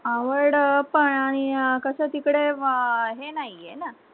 आवड अह पण अह आणि अह कस तिकडे अह हे नाहीये ना